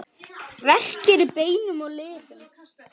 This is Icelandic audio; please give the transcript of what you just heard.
Verkir í beinum og liðum